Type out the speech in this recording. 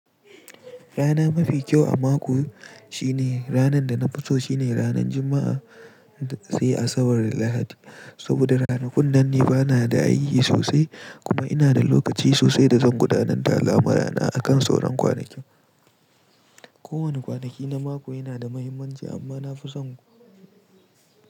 Rana mafi kyau a mako shine ranan da na fi so shine ranan Juma'a sai asabar da Lahadi. Saboda ranakun nan ni bana da aiki sosai, kuma ina da lokaci sosai da zan gudanar da al'amurana akan sauran kwanakin. Ko wani kwanaki na mako yana da muhimmanci amma nafi son.